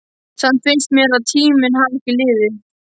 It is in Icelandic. Samt finnst mér að tíminn hafi ekki liðið.